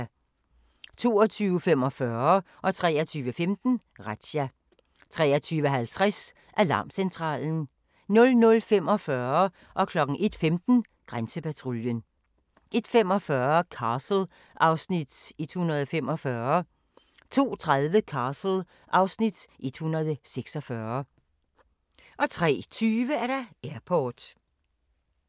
22:45: Razzia 23:15: Razzia 23:50: Alarmcentralen 00:45: Grænsepatruljen 01:15: Grænsepatruljen 01:45: Castle (Afs. 145) 02:30: Castle (Afs. 146) 03:20: Airport